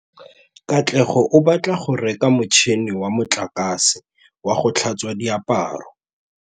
Katlego o batla go reka motšhine wa motlakase wa go tlhatswa diaparo.